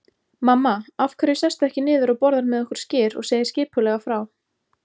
Mamma, af hverju sestu ekki niður og borðar með okkur skyr og segir skipulega frá.